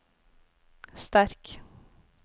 sterk